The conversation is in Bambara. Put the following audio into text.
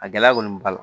A gɛlɛya kɔni b'a la